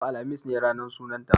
Yau, alhamis ne ranar sunanta.